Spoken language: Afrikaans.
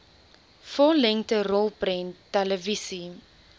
vollengte rolprent televisie